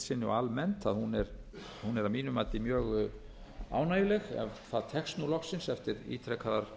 og almennt að hún er að mínu mati mjög ánægjuleg ef það tekst nú loksins eftir ítrekaðar